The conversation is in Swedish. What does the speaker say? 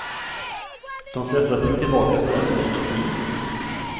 De flesta fick tillbaka strömmen inom tio minuter.